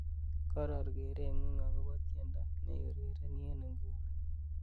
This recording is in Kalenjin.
koror kereng'ung agopo tiendo neiurereni en inguni